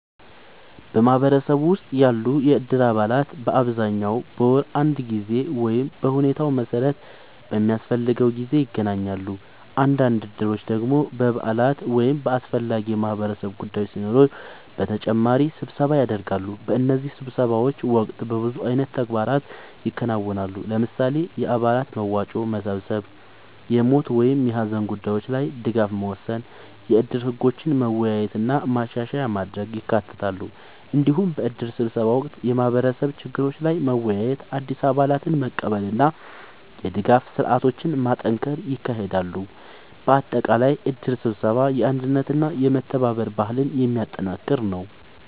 በማህበረሰብ ውስጥ ያሉ የእድር አባላት በአብዛኛው በወር አንድ ጊዜ ወይም በሁኔታው መሠረት በሚያስፈልገው ጊዜ ይገናኛሉ። አንዳንድ እድሮች ደግሞ በበዓላት ወይም በአስፈላጊ የማህበረሰብ ጉዳዮች ሲኖሩ በተጨማሪ ስብሰባ ያደርጋሉ። በእነዚህ ስብሰባዎች ወቅት በብዙ አይነት ተግባራት ይከናወናሉ። ለምሳሌ፣ የአባላት መዋጮ መሰብሰብ፣ የሞት ወይም የሀዘን ጉዳዮች ላይ ድጋፍ መወሰን፣ የእድር ህጎችን መወያየት እና ማሻሻያ ማድረግ ይካተታሉ። እንዲሁም በእድር ስብሰባ ወቅት የማህበረሰብ ችግሮች ላይ መወያየት፣ አዲስ አባላትን መቀበል እና የድጋፍ ስርዓቶችን ማጠናከር ይካሄዳል። በአጠቃላይ እድር ስብሰባ የአንድነትና የመተባበር ባህልን የሚያጠናክር ነው።